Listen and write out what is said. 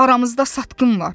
Aramızda satqın var.